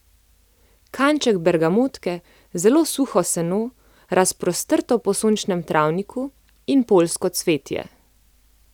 Kanček bergamotke, zelo suho seno, razprostrto po sončnem travniku, in poljsko cvetje.